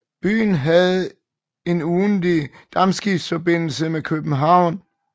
Byen havde en ugentlig dampskibsforbindelse med København